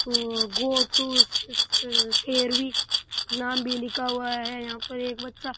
और go to शेर भी नाम भी लिखा हुआ है यहाँ पर एक बच्चा --